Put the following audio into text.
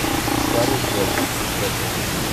старые клячи искать